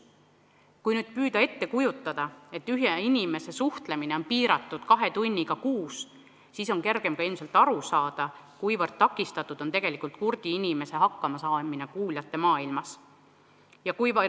Kui püüda ette kujutada, et ühe inimese suhtlemine on piiratud kahe tunniga kuus, siis on ilmselt kergem aru saada, kui raske on kurdil inimesel kuuljate maailmas hakkama saada.